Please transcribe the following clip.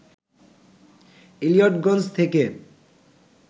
ইলিয়টগঞ্জ থেকে